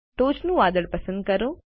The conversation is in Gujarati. ટોચનું વાદળ પસંદ કરો